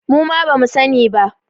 Muma ba mu sani ba